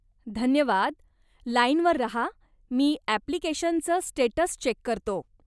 धन्यवाद, लाईनवर राहा, मी अप्लिकेशनच स्टेटस चेक करतो.